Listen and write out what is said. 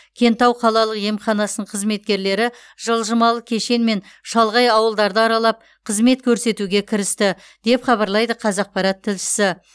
кентау қалалық емханасын қызметкерлері жылжымалы кешенмен шалғай ауылдарды аралап қызмет көрсетуге кірісті деп хабарлайды қазақпарат тілшісі